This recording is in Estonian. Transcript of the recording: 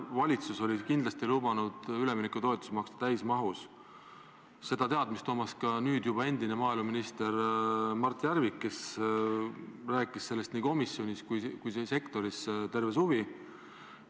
Valitsus oli kindlasti lubanud üleminekutoetusi maksta täismahus ja see teadmine oli ka nüüdseks juba endisel maaeluministril Mart Järvikul, kes rääkis sellest nii komisjonis kui ka kogu sektoris terve suvi.